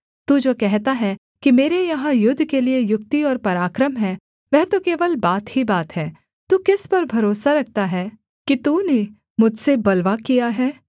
तू जो कहता है कि मेरे यहाँ युद्ध के लिये युक्ति और पराक्रम है वह तो केवल बात ही बात है तू किस पर भरोसा रखता है कि तूने मुझसे बलवा किया है